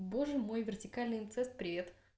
боже мой вертикальный инцест привет